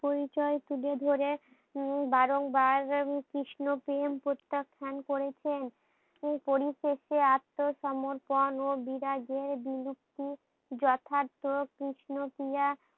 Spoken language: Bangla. পরিচয় তুলে ধরে উম বারং বার কৃষ্ণ প্রেম প্রত্যাখ্যান করেছেন করি থেকে আত্নসর্মপন ও বিরাগের বিলুপ্তি যথার্থ কৃষ্ণ ক্রিয়া